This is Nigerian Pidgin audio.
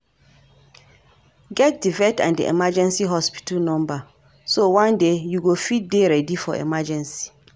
Get di vet and di emergency hospital number so one day you go fit dey ready for emergency